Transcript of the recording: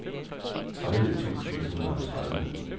tredive tusind et hundrede og tredive